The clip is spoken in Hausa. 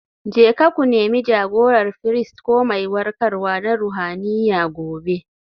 Jeka ku Nemi jagorar firist ko mai warkarwa na ruhaniya gobe.